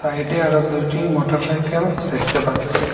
সাইডে আরও দুইটি মোটরসাইকেল দেখতে পাচ্ছি।